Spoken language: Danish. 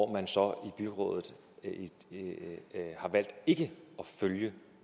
man så i byrådet har valgt ikke at følge